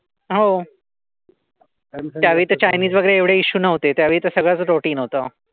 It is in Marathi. हो त्यावेळी तर चायनीज वगैरे एवढे इसू नव्हते. त्यावेळी तर सगळच रुटीन होत.